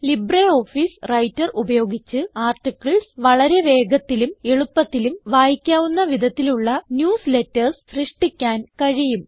LibreOffice writer ഉപയോഗിച്ച് articles വളരെ വേഗത്തിലും എളുപ്പത്തിലും വായിക്കാവുന്ന വിധത്തിലുള്ള ന്യൂസ്ലേറ്റർസ് സൃഷ്ടിക്കാൻ കഴിയും